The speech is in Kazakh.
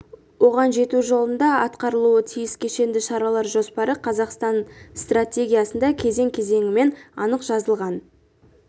оған жету жолында атқарылуы тиіс кешенді шаралар жоспары қазақстан стратегиясында кезең-кезеңімен анық жазылған